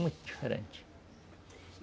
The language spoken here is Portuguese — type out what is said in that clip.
Muito diferente.